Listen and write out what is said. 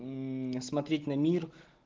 смотреть на мир